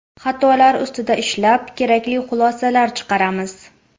Xatolar ustida ishlab, kerakli xulosalar chiqaramiz.